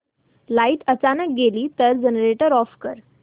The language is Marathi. लाइट अचानक गेली तर जनरेटर ऑफ कर